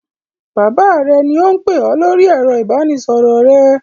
Bàbá rẹ ni ó ń pè ọ lórí ẹ̀rọ ìbanisọ̀rọ̀ rẹ.